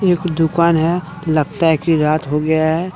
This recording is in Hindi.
ईक दुकान है लगता है की रात हो गया है।